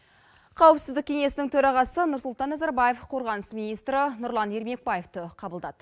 қауіпсіздік кеңесінің төрағасы нұрсұлтан назарбаев қорғаныс министрі нұрлан ермекбаевті қабылдады